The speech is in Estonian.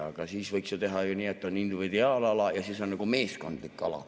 Aga siis võiks ju teha nii, et on individuaalala ja on meeskondlik ala.